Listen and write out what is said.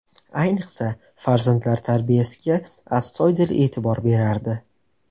Ayniqsa, farzandlar tarbiyasiga astoydil e’tibor berardi.